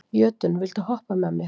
Jötunn, viltu hoppa með mér?